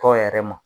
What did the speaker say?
Tɔn yɛrɛ ma